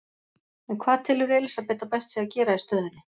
En hvað telur Elísabet að best sé að gera í stöðunni?